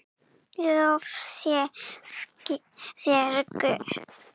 Lof sé þér, Guð.